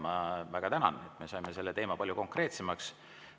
Ma väga tänan, et saime selle teema palju konkreetsemaks.